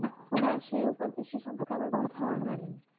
না সেই সে সম্পর্কে আমার কোন ধারণা নেই